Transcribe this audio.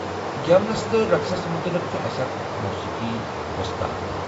گٮ۪ونس تہٕ رقصس متعلق چُھ اسہِ اکھ موسیقی ووستاد تہِ۔